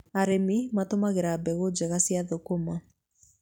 Arĩmi matũmagĩra mbegũ njega cia thũkũma.